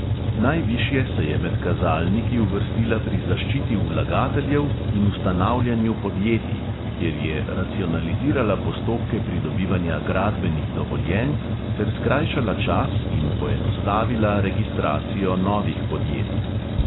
Najvišje se je med kazalniki uvrstila pri zaščiti vlagateljev in ustanavljanju podjetij, kjer je racionalizirala postopke pridobivanja gradbenih dovoljenj ter skrajšala čas in poenostavila registracijo novih podjetij.